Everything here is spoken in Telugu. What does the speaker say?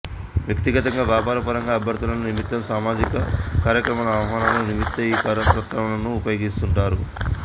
వ్యక్తిగతంగా వ్యాపార పరంగా అభ్యర్ధనల నిమిత్తం సమాజిక కార్యక్రమాల ఆహ్వానాల నిమిత్త ఈ కరపత్రంలను ఉపయోగిస్తుంటారు